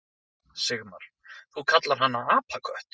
Sigmar: Þú kallar hana apakött.